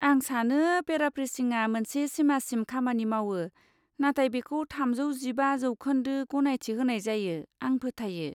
आं सानो पेराफ्रेसिंआ मोनसे सिमासिम खामानि मावो, नाथाय बेखौ थामजौ जिबा जौखोन्दो गनायथि होनाय जायो, आं फोथायो।